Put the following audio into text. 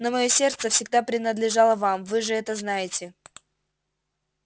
но моё сердце всегда принадлежало вам вы же это знаете